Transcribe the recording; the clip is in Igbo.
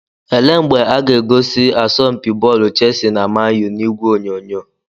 Ele mgbe aga egosi asọmpi bọọlụ Chelsea na Man U n'ìgwè onyonyo?